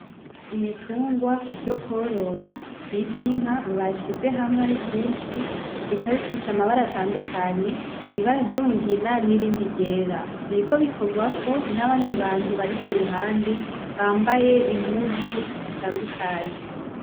ibitungwa vyo korora vyitwa inka bashize hamwe ari vyinsi bikaba bifise amabara atandukanye ibara ry,umugina n'irindi ry'era biriko bikogwako n'abandi bantu bari kuruhande bambaye impuzu zitandukanye .